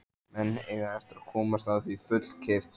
Menn eiga eftir að komast að því fullkeyptu.